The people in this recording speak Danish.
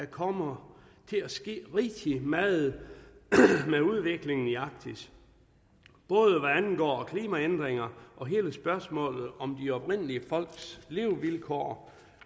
kommer til at ske rigtig meget med udviklingen i arktis både hvad angår klimaændringer og hele spørgsmålet om de oprindelige folks levevilkår